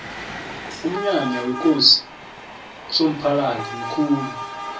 umnyanya wekosi usomphalili mkhulu